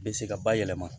Bɛ se ka bayɛlɛma